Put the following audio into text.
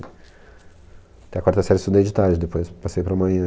Até a quarta série eu estudei de tarde, depois passei para amanhã.